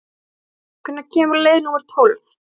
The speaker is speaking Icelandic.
Íren, hvenær kemur leið númer tólf?